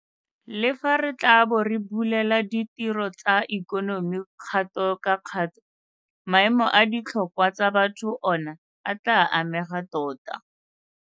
Le fa re tla bo re bulela ditiro tsa ikonomi kgato ka kgato, maemo a ditlhokwa tsa batho ona a tla amega tota.